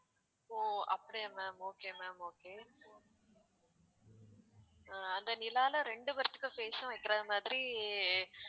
ஓ அப்படியா ma'am okay ma'am okay அஹ் அந்த நிலாவுல ரெண்டு பேர்த்துக்கு face உம் வைக்கிற மாதிரி